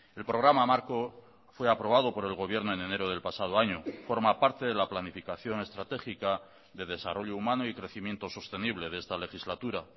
el programa marco fue aprobado por el gobierno en enero del pasado año forma parte de la planificación estratégica de desarrollo humano y crecimiento sostenible de esta legislatura